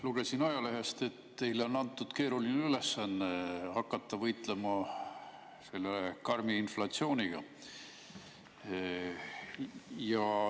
Lugesin ajalehest, et teile on antud keeruline ülesanne hakata võitlema selle karmi inflatsiooniga.